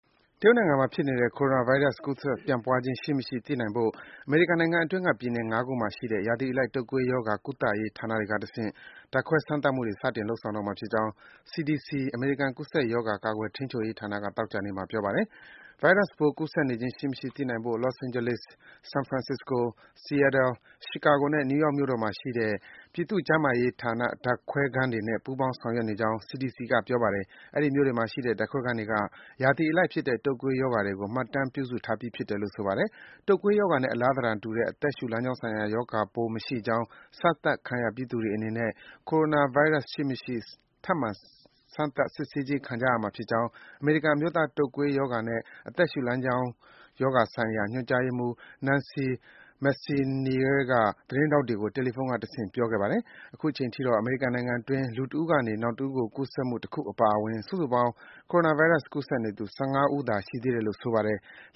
တရုတ်နိုင်ငံမှာ ဖြစ်နေတဲ့ Coronavirus ကူးစက်ပြန့်ပွားခြင်း ရှိမရှိ သိရှိနိုင်ဖို့ အမေရိကန်နိုင်ငံအတွင်းက ပြည်နယ် ၅ ခုမှာရှိတဲ့ ရာသီအလိုက် တုပ်ကွေးရောဂါ ကုသရေးဌာနတွေကတဆင့် ဓါတ်ခွဲ စမ်းသပ်မှုတွေ စတင်လုပ်ဆောင်တော့မှာဖြစ်ကြောင်း CDC အမေရိကန် ကူးစက်ရောဂါ ကာကွယ်ထိန်းချုပ်ရေးဌာနက သောကြာနေ့မှာ ပြောပါတယ်။ ဗိုင်းရပ်စ်ပိုး ကူးစက်နေခြင်းရှိမရှိ သိနိုင်ဖို့ Los Angeles ၊ San Francisco ၊ Seattle ၊ Chicago နဲ့ New York မြို့တို့မှာရှိတဲ့ ပြည်သူ့ကျန်းမာရေးဌာန ဓါတ်ခွဲခန်းတွေနဲ့ ပူးပေါင်းဆောင်ရွက်နေကြောင်း CDC က ပြောပါတယ်။ အဲဒီမြို့တွေမှာရှိတဲ့ ဓါတ်ခွဲခန်းတွေက ရာသီအလိုက်ဖြစ်တဲ့ တုပ်ကွေးရောဂါတွေကို မှတ်တမ်းပြုစုထားပြီးဖြစ်တယ်လို့ ဆိုပါတယ်။ တုပ်ကွေးရောဂါနဲ့ အလားသဏ္ဍာန်တူတဲ့ အသက်ရှုလမ်းကြောင်းဆိုင်ရာ ရောဂါမရှိကြောင်း စမ်းသပ်ခံရပြီးသူတွေအနေနဲ့ Coronavirus ရှိမရှိ ထပ်မံ စမ်းသပ်စစ်ဆေးခြင်းခံကြရမှာဖြစ်ကြောင်း အမေရိကန်အမျိုးသား တုပ်ကွေးရောဂါနဲ့ အသက်ရှုလမ်းကြောင်းရောဂါဆိုင်ရာ ညွန်ကြားရေးမှူး Nancy Messonnier က သတင်းထောက်တွေကို တယ်လီဖုန်းကတဆင့် ပြောကြားခဲ့ပါတယ်။ အခုချိန်ထိတော့ အမေရိကန်နိုင်ငံအတွင်း လူတဦးကနေ နောက်တဦးကို ကူးစက်မှု တခုအပါအဝင် စုစုပေါင်း Coronavirus ကူးစက်နေသူ ၁၅ ဦးသာ ရှိသေးတယ်လို့ ဆိုပါတယ်။